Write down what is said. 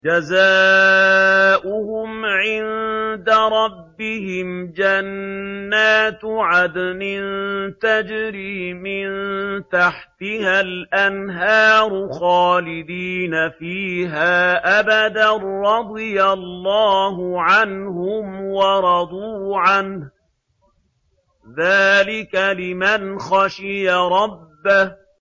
جَزَاؤُهُمْ عِندَ رَبِّهِمْ جَنَّاتُ عَدْنٍ تَجْرِي مِن تَحْتِهَا الْأَنْهَارُ خَالِدِينَ فِيهَا أَبَدًا ۖ رَّضِيَ اللَّهُ عَنْهُمْ وَرَضُوا عَنْهُ ۚ ذَٰلِكَ لِمَنْ خَشِيَ رَبَّهُ